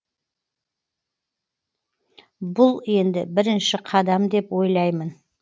бұл енді бірінші қадам деп ойлаймын